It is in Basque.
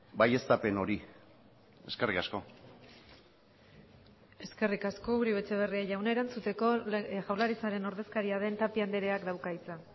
baieztapen hori eskerrik asko eskerrik asko uribe etxebarria jauna erantzuteko jaurlaritzaren ordezkaria den tapia andreak dauka hitza